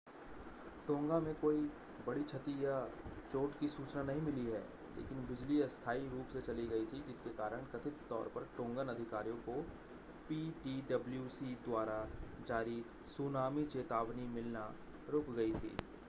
टोंगा में कोई बड़ी क्षति या चोट की सूचना नहीं मिली है लेकिन बिजली अस्थाई रूप से चली गई थी जिसके कारण कथित तौर पर टोंगन अधिकारियों को पीटीडब्ल्यूसी द्वारा जारी सूनामी चेतावनी मिलना रुक गई थी